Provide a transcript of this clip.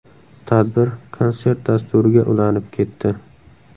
Tadbir konsert dasturiga ulanib ketdi.